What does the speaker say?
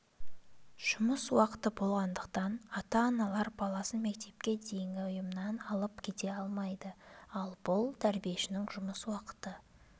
жұмыс уақыты болғандықтан ата-аналар баласын мектепке дейінгі ұйымнан алып кете алмайды ал бұл тәрбиешінің жұмыс уақыты